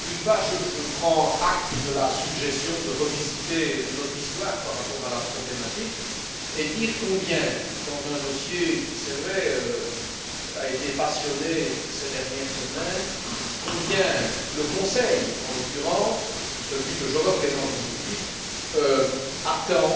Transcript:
D'une part, je prends acte de la suggestion de revisiter notre histoire par rapport à la problématique et, d'autre part, je voudrais dire combien, dans un dossier qui c'est vrai a été passionné ces dernières semaines, le Conseil, en l'occurrence, que je représente aujourd'hui, attend